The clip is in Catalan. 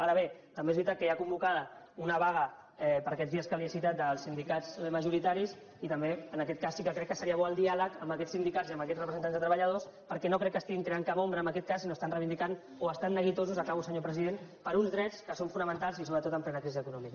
ara bé també és veritat que hi ha convocada una vaga per aquests dies que li he citat dels sindicats majorita·ris i també en aquest cas sí que crec que seria bo el di·àleg amb aquests sindicats i amb aquests representants de treballadors perquè no crec que estiguin creant cap ombra en aquest cas sinó que estan reivindicant o estan neguitosos acabo senyor presi·dent per uns drets que són fonamentals i sobretot en plena crisi econòmica